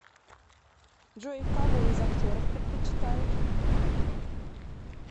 джой кого из актеров предпочитаешь